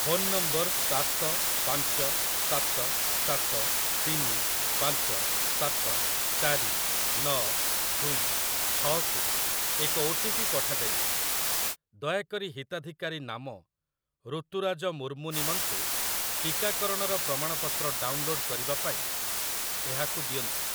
Phone number ସାତ ପାଞ୍ଚ ସାତ ସାତ ତିନି ପାଞ୍ଚ ସାତ ଚାରି ନଅ ଦୁଇ ଛଅ କୁ ଏକ ଓଟିପି ପଠାଯାଇଛି । ଦୟାକରି ହିତାଧିକାରୀ ନାମ ରୁତୁରାଜ ମୁର୍ମୁ ନିମନ୍ତେ ଟିକାକରଣର ପ୍ରମାଣପତ୍ର ଡାଉନଲୋଡ଼୍‌ କରିବା ପାଇଁ ଏହାକୁ ଦିଅନ୍ତୁ ।